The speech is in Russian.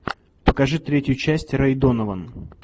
покажи третью часть рэй донован